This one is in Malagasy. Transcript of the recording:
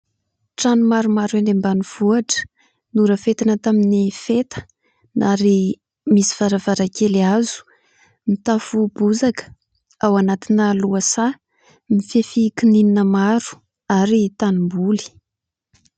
Trano maromaro eny ambanivohitra, norafetina tamin'ny feta ary misy varavarankely hazo. Mitafo bozaka ao anatina lohasaha, mifefy kininina maro, ary tanimboly.